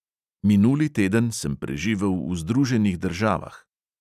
Minuli teden sem preživel v združenih državah.